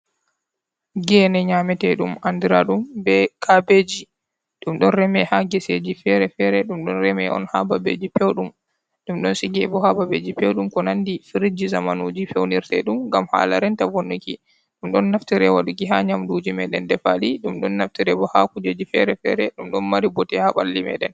Geene nyaametee ɗum anndiraaɗum bee kaabeeji, ɗum ɗon reme ha geseeji feere-feere. Ɗum ɗon reme on haa babeeji peewɗum, ɗum ɗon sigee bo haa babeeji peewɗum, ko nanndi "firji" zamanuuji fewnirtee ɗum ngam haala renta vonnuki. Ɗum ɗon naftiree haa waɗuki haa nyamduuji meeɗen defaaɗi ɗum ɗon naftiree bo haa kuujeeji feere-feere. Ɗum ɗon mari bote haa ɓalli meeɗen.